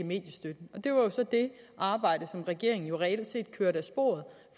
arbejde som regeringen reelt set kørte af sporet